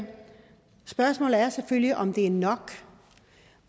spørgsmålet er selvfølgelig om det er nok